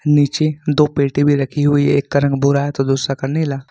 नीचे दो पेटी भी रखी हुई है एक रंग भूरा है तो दूसरा का नीला।